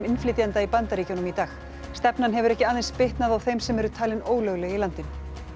innflytjenda í Bandaríkjunum í dag stefnan hefur ekki aðeins bitnað á þeim sem eru talin ólögleg í landinu